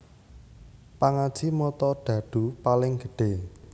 Pangaji mata dhadhu paling gedhé